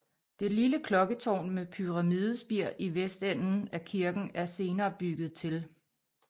Det lille klokketårn med pyramidespir i vestenden af kirken er senere bygget til